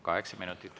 Kaheksa minutit.